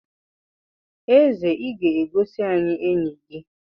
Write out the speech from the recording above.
Eze Ị ga-egosi anyị enyi gi?